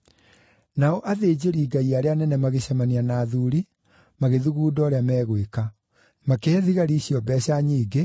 Nao athĩnjĩri-Ngai arĩa anene magĩcemania na athuuri, magĩthugunda ũrĩa megwĩka; makĩhe thigari icio mbeeca nyingĩ,